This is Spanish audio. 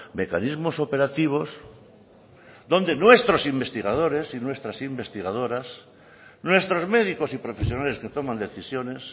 mecanismos operativos donde nuestros investigadores y nuestras investigadoras nuestros médicos y profesionales que toman decisiones